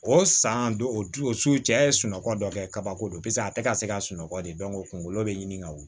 O san don o du o su cɛ ye sunɔgɔ dɔ kɛ kabako do paseke a tɛ ka se ka sunɔgɔ de kungolo bɛ ɲini ka wuli